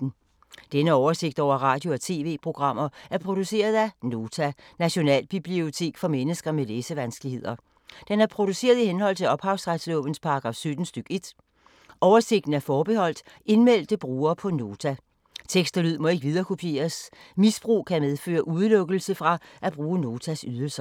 Denne oversigt over radio og TV-programmer er produceret af Nota, Nationalbibliotek for mennesker med læsevanskeligheder. Den er produceret i henhold til ophavsretslovens paragraf 17 stk. 1. Oversigten er forbeholdt indmeldte brugere på Nota. Tekst og lyd må ikke viderekopieres. Misbrug kan medføre udelukkelse fra at bruge Notas ydelser.